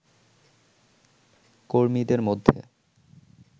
কর্মীদের মধ্যে